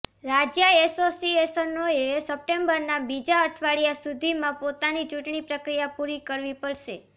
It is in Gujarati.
રાજ્ય એસોસિએશનોએ સપ્ટેમ્બરના બીજા અઠવાડિયા સુધીમાં પોતાની ચૂંટણી પ્રક્રિયા પુરી કરવી પડશે